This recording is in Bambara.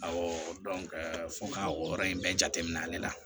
Awɔ fɔ ka o yɔrɔ in bɛɛ jate minɛ ale la